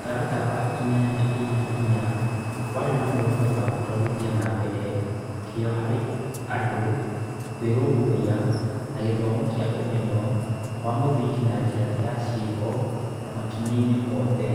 Mũtaratara wa inyanya-inya-inya warĩ na muoroto wa gũtwarithia na mbere kĩyo harĩ andũ kwĩrũmbũiya, na gĩthomo kĩa ũmenyo wa mũthingi na njĩra ya ciĩko maikinya-inĩ mothe.